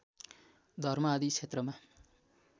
धर्म आदि क्षेत्रमा